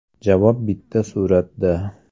Javob bitta suratda .